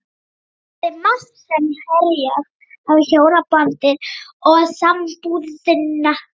Það er margt sem herjar á hjónabandið og sambúðina.